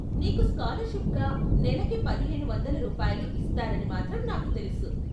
నీకు స్కాలర్షిప్గా నెలకి పదిహేను వందలు రూపాయలు ఇస్తారని మాత్రం నాకు తెలుసు.